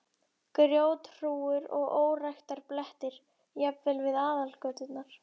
Grjóthrúgur og óræktarblettir, jafnvel við aðalgöturnar.